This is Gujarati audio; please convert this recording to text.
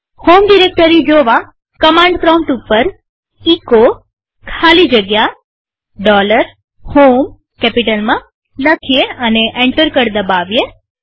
હોમ ડિરેક્ટરી જોવાકમાંડ પ્રોમ્પ્ટ ઉપર એચો ખાલી જગ્યા HOME કેપિટલમાં લખીએ અને એન્ટર કળ દબાવીએ